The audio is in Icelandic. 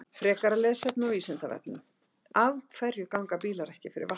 Frekara lesefni á Vísindavefnum: Af hverju ganga bílar ekki fyrir vatni?